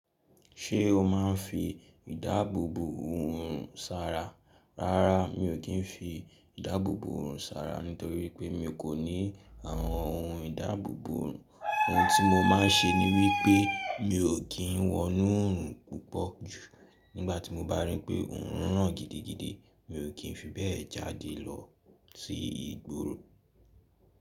Ṣé o máa ń fi ìdáàbòbò hù ohun sára? Rárá, mi ò kí ń fi ìdáàbòbò hù ohun sára nítorí pé mi kò ní àwọn ohun ìdáàbòbò. Ohun tí mo máà ń ṣe ni wípé mi ò kí ń wọnú òòrùn púpọ̀ jù nígbàtí mo bá rí pé òòrùn ràn gidigidi mi ò kí ń fi bẹ́ẹ̀ jáde lọ sí ìgboro.